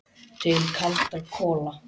Til kaldra kola.